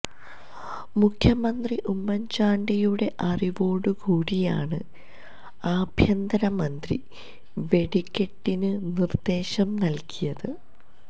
മുഖ്യമന്ത്രി ഉമ്മന്ചാണ്ടിയുടെ അറിവോടുകൂടിയാണ് അഭ്യന്തര മന്ത്രി വെടിക്കെട്ടിന് നിര്ദ്ദേശം നല്കിയത്